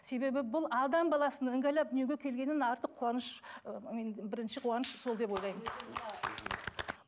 себебі бұл адам баласының іңгәлап дүниеге келгеннен артық қуаныш ііі бірінші қуаныш сол деп ойлаймын